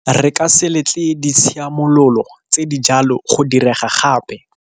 Re ka se letle ditshiamololo tse di jalo go direga gape.